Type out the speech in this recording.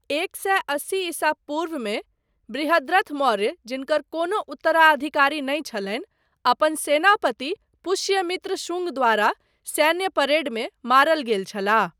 एक सए अस्सी ईसा पूर्वमे बृहद्रथ मौर्य जिनकर कोनो उत्तराधिकारी नहि छलनि, अपन सेनापति पुष्यमित्र शुंग द्वारा सैन्य परेडमे मारल गेल छलाह।